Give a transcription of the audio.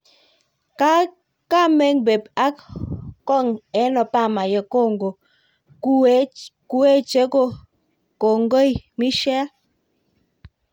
kameng pep ah kong en Obama yekongo kuweche kongai Michelle